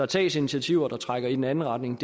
tages initiativer der trækker i den anden retning